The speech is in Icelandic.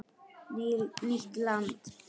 Nýtt land